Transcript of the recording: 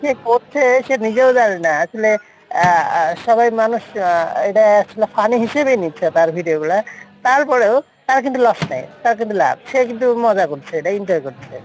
করছে সে নিজেও জানে না আসলে আহ আহ সবাই মানুষ আহ এটাই আসলে funny হিসেবেই নিচ্ছে তার video গুলা তারপরেও তার কিন্তু loss নাই, তার কিন্তু লাভ সে কিন্তু মজা করছে এটা enjoy করছে,